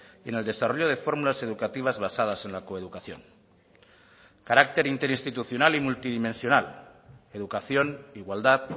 y en el desarrollo de fórmulas educativas basadas en la coeducación carácter interinstitucional y multidimensional educación igualdad